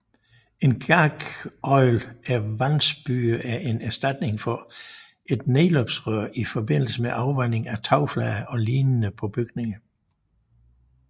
En gargoil eller vandspyer er en erstatning for et nedløbsrør i forbindelse med afvanding af tagflader og lignende på bygninger